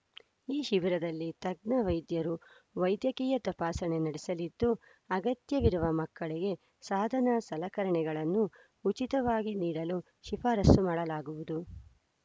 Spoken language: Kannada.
ಈ ಶಿಬಿರದಲ್ಲಿ ತಜ್ಞ ವೈದ್ಯರು ವೈದ್ಯಕೀಯ ತಪಾಸಣೆ ನಡೆಸಲಿದ್ದು ಅಗತ್ಯವಿರುವ ಮಕ್ಕಳಿಗೆ ಸಾದನಸಲಕರಣೆಗಳನ್ನು ಉಚಿತವಾಗಿ ನೀಡಲು ಶಿಫಾರಸು ಮಾಡಲಾಗುವುದು